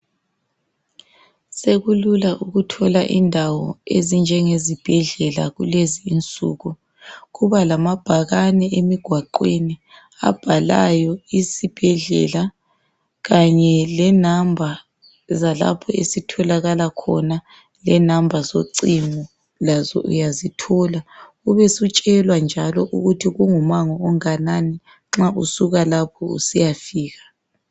Sekulula ukuthola indawo ezinjengezibhedlela kulezi insuku, kubalamabhakane emigwaqweni abhalayo isibhedlela kanye lenamba zalapho esitholakala khona lenamba zocingo lazo uyazithola ubesutshelwa njalo ukuthi kungumango onganani nxa usuka lapho usiyafika.